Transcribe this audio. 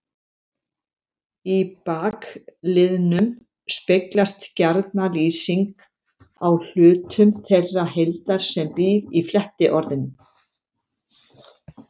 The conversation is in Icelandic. Í bakliðnum speglast gjarna lýsing á hlutum þeirrar heildar sem býr í flettiorðinu.